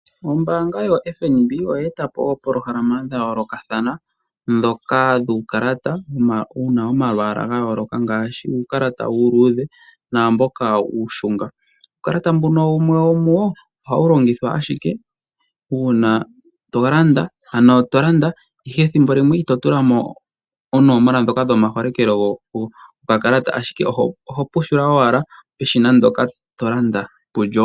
Ombanga yo FNB oya eta po opolohalama dha yolokathana dhoka dhukalata una omalwala gayoloka ngashi uukalata uludhe namboka ushunga, uukalata mbuno wumwe womu wo oha wulongithwa ashike una tolanda ihe thimbo limwe itotulamo onomola dhoka dho ma holekelo go kakalata ashike oho pushula owala peshina ndoka tolanda pulyo.